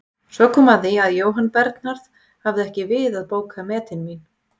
Svo kom að því að Jóhann Bernharð hafði ekki við að bóka metin mín.